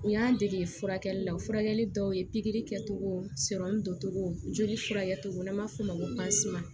U y'an dege furakɛli la furakɛli dɔw ye pikiri kɛtogo don cogo joli furakɛli n'an b'a f'o ma ko